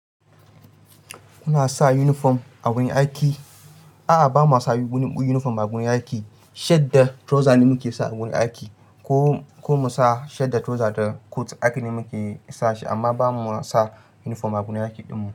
Kuna sa uniform a wurin aiki? A'a, ba ma sa uniform a gurin aiki. Shirt da trouser ne muke sa a gurin aiki, ko mu sa shirt da trouser da coat aiki ne muke yi sashi amma ba ma sa uniform a gurin aiki ɗinmu.